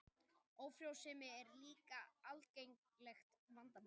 Ófrjósemi er líka algengt vandamál.